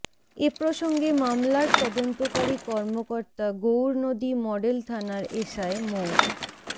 এ প্রসঙ্গে মামলার তদন্তকারী কর্মকর্তা গৌরনদী মডেল থানার এসআই মো